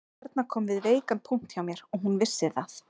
Erna kom við veikan punkt hjá mér og hún vissi það